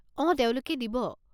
অঁ তেওঁলোকে দিব।